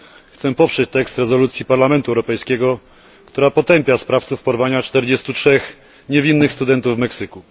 Chciałbym poprzeć tekst rezolucji Parlamentu Europejskiego, która potępia sprawców porwania 43 niewinnych studentów w Meksyku.